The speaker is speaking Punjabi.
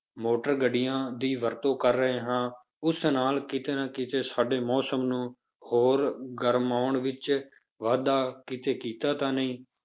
ਮੋਟਰ ਗੱਡੀਆਂ ਦੀ ਵਰਤੋਂ ਕਰ ਰਹੇ ਹਾਂ ਉਸ ਨਾਲ ਕਿਤੇ ਨਾ ਕਿਤੇ ਸਾਡੇ ਮੌਸਮ ਨੂੰ ਹੋਰ ਗਰਮਾਉਣ ਵਿੱਚ ਵਾਧਾ ਕਿਤੇ ਕੀਤਾ ਤਾਂ ਨਹੀਂ।